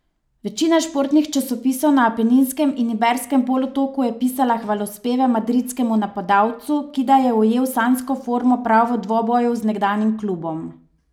Večina športnih časopisov na Apeninskem in Iberskem polotoku je pisala hvalospeve madridskemu napadalcu, ki da je ujel sanjsko formo prav v dvoboju z nekdanjim klubom.